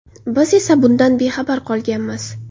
Biz esa bundan bexabar qolganmiz.